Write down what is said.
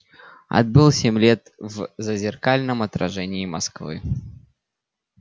отбыл семь лет в зазеркальном отражении москвы